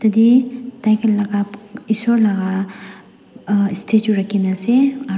tatae tai kan laka isor laka ah statue rakhina ase aro.